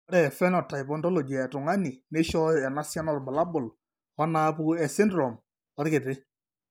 Ore ephenotype ontology etung'ani neishooyo enasiana oorbulabul onaapuku esindirom orkiti.